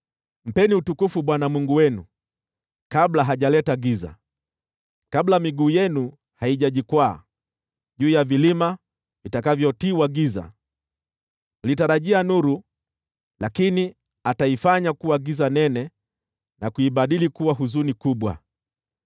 Mpeni utukufu Bwana Mungu wenu, kabla hajaleta giza, kabla miguu yenu haijajikwaa juu ya vilima vitakavyotiwa giza. Mlitarajia nuru, lakini ataifanya kuwa giza nene na kuibadili kuwa huzuni kubwa.